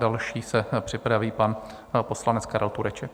Dále se připraví pan poslanec Karel Tureček.